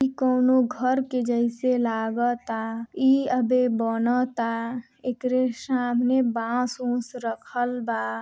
इ कउनो घर के जैसे लगताइ अभी बनता एकरे सामने बांस-ओस रखल बा।